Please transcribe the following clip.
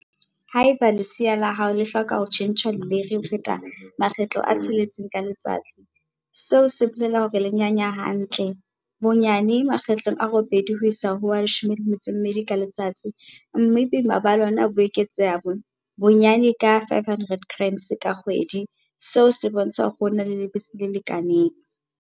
Haeba lesea la hao le hloka ho tjhentjhwa leleiri ho feta makgetlo a tsheletseng ka letsatsi, seo se bolela hore le nyanya hantle, bonyane makgetlo a robedi ho isa ho a 12 ka letsatsi, mme boima ba lona bo eketseha bonyane ka 500g ka kgwedi, seo se bontsha hore o na le lebese le lekaneng.